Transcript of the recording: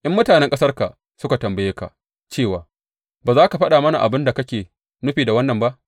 In mutanen ƙasarka suka tambaye ka cewa, Ba za ka faɗa mana abin da kake nufi da wannan ba?’